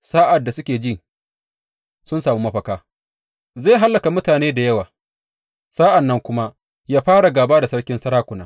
Sa’ad da suke ji sun sami mafaka, zai hallaka mutane da yawa sa’an nan kuma yă fara gāba da Sarkin sarakuna.